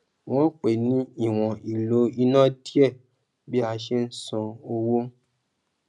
wọn pè ní ìwòn ìlò iná díẹ bí a ṣe ń san owó